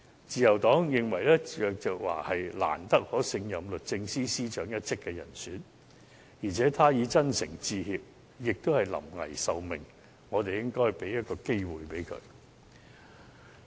自由黨認為鄭若驊是難得可勝任律政司司長一職的人選，而且她已真誠致歉，也是臨危受命，我們應給她一個機會。